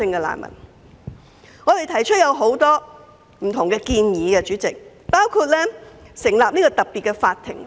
所以，我們曾提出很多不同建議，包括成立特別法庭。